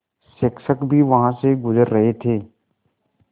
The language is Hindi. शिक्षक भी वहाँ से गुज़र रहे थे